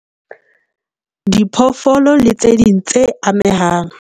Diphoofolo le tse ding tse amehang